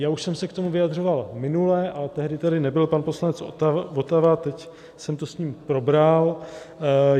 Já už jsem se k tomu vyjadřoval minule, ale tehdy tady nebyl pan poslanec Votava, teď jsem to s ním probral.